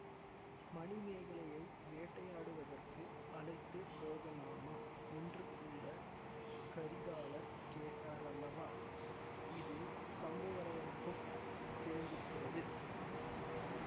மணிமேகலையை வேட்டையாடுவதற்கு அழைத்து போகலாமா என்று கூட கரிகாலர் கேட்டார் அல்லவா இது சம்புவரையருக்கும் தெரிந்திருக்கிறது